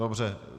Dobře.